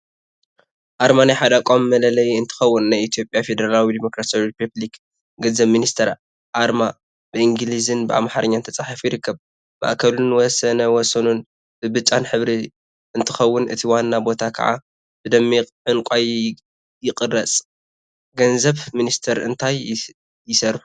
አርማ ናይ ሓደ ተቋም መለለይ እንትኸውን፤ ናይ ኢትዮጵያ ፌደራላዊ ዲሞክራሲያዊ ሪፐብሊክ ገንዘብ ሚኒስቴር አርማ ብእንግሊዝን ብአምሓርኛን ተፃሒፉ ይርከብ፡፡ ማእከሉን ወሰን ወሰኑን ብብጫ ሕብሪ እንትኸውን እቲ ዋና ቦታ ከዓ ብደሚቀ ዕንቋይ ይቅረፅ፡፡ ገንዘብ ሚኒስቴር እንታይ ይሰርሑ?